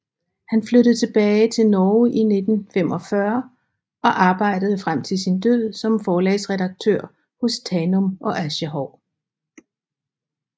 Han flyttede tilbage til Norge i 1945 og arbejdede frem til sin død som forlagsredaktør hos Tanum og Aschehoug